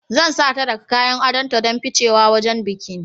Zan sata daga kayan adonta don ficewa wajen bikin